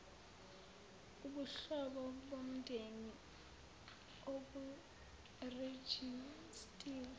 ubuhlobo bomndeni oburejistiwe